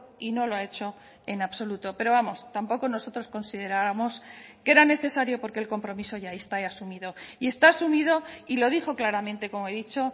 y no lo ha hecho en absoluto pero vamos tampoco nosotros considerábamos que era necesario porque el compromiso ya está asumido y está asumido y lo dijo claramente como he dicho